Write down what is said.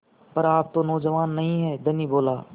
पर आप तो नौजवान नहीं हैं धनी बोला